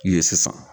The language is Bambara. Ye sisan